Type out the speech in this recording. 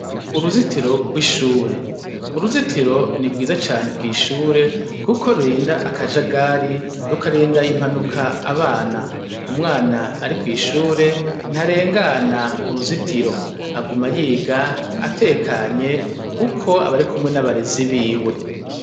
Uruzitiro rw'ishure: uruzitiro ni rwiza cane kw'ishure kuko rurinda akajagari, rukarinda impanuka abana. Umwana ari kw'ishure, ntarengana uruzitiro. Agula yiga atekanye kuko aba ari kumwe n'abarezi biwe.